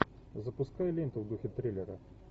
запускай ленту в духе триллера